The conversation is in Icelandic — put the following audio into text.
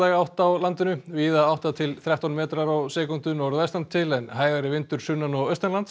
átt á landinu víða átta til þrettán metrar á sekúndu norðvestan til en hægari vindur sunnan og